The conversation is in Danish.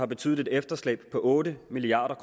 betydeligt efterslæb på otte milliard